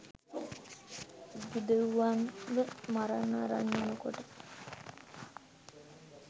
යුදෙව්වන්ව මරන්න අරන් යනකොට